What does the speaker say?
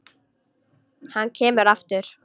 Hann kemur aftur.